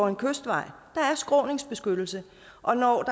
en kystvej der er skråningsbeskyttelse og når